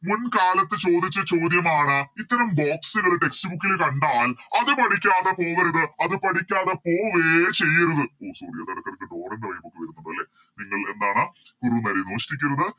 മുൻകാലത്ത് ചോദിച്ച ചോദ്യമാണ് ഇത്തരം Box കള് Text book ല് കണ്ടാൽ അത് പഠിക്കാതെ പോവരുത് അത് പഠിക്കാതെ പോവെ ചെയ്യരുത് ഓ Sorry അത് എടക്കെടക്ക് ഡോറൻറെ Vibe ഒക്കെ വരുന്നുണ്ട് അല്ലെ നിങ്ങൾ എന്താണ് കുറുനരി മോഷ്ടിക്കരുത്